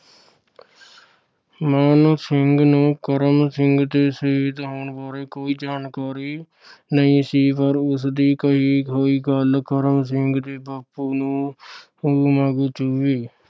ਮਾਣ ਸਿੰਘ ਨੂੰ ਕਰਮ ਸਿੰਘ ਦੇ ਸ਼ਹੀਦ ਹੋਣ ਬਾਰੇ ਕੋਈ ਜਾਣਕਾਰੀ ਨਹੀਂ ਸੀ ਪਰ ਉਸਦੀ ਕਹਿ ਹੋਈ ਗੱਲ ਕਰਮ ਸਿੰਘ ਦੇ ਬਾਪੂ ਨੂੰ ਸੂਲ ਵਾਂਗੂ ਚੁਭੀ।